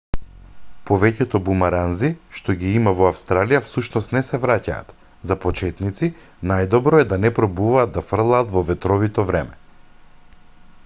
повеќето бумеранзи што ги има во австралија всушност не се враќаат за почетници најдобро е да не пробуваат да фрлаат во ветровито време